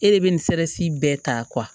E de bɛ nin sɛrɛsi bɛɛ ta